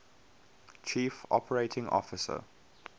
chief operating officer